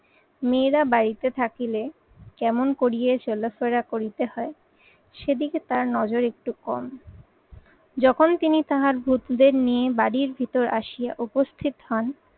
মেয়েরা বাড়িতে থাকিলে কেমন করিয়ে চলাফেরা করিতে হয় সেদিকে তার নজর একটু কম। যখন তিনি তাহার পুত্রদের নিয়ে বাড়ির ভিতর আসিয়া উপস্থিত হন